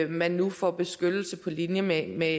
man nu får beskyttelse på linje med med